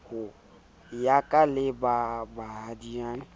ya ka le ba bohading